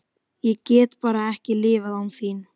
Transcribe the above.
Ég get bara ekki lifað án þín.